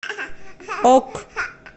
ок